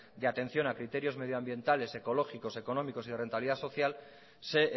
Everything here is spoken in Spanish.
de atención a criterios medio ambientales ecológicos económicos y de rentabilidad social se